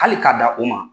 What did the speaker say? Hali k'a da o ma